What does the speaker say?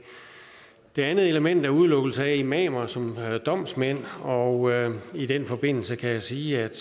et andet element er udelukkelse af imamer som domsmænd og i den forbindelse kan jeg sige at